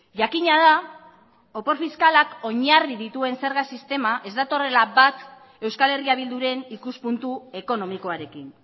jakina da opor fiskalak oinarri dituen zerga sistema ez datorrela bat euskal herria bilduren ikuspuntu ekonomikoarekin